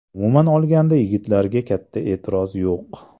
Umuman olganda yigitlarga katta e’tiroz yo‘q.